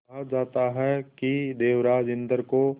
कहा जाता है कि देवराज इंद्र को